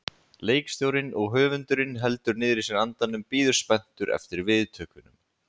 Leikstjórinn og höfundurinn heldur niðri í sér andanum, bíður spenntur eftir viðtökunum.